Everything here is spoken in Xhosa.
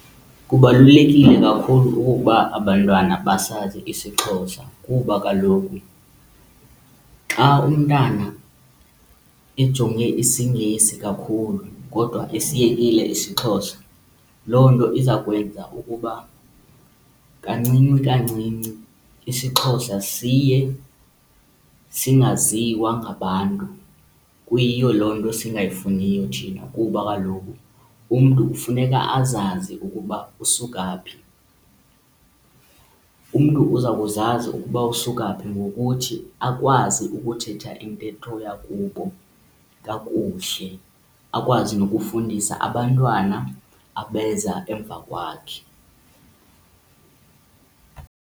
Kubalulekile kakhulu okokuba abantwana basazi isiXhosa kuba kaloku xa umntana ejonge isiNgesi kakhulu kodwa esiyekile isiXhosa loo nto iza kwenza ukuba kancinci kancinci isiXhosa siye singaziwa ngabantu. Kuyiyo loo nto singayifuniyo thina kuba kaloku umntu kufuneka azazi ukuba usuka phi. Umntu uza kukuzazi ukuba usuka phi ngokuthi akwazi ukuthetha intetho yakubo kakuhle, akwazi nokufundisa abantwana abeza emva kwakhe.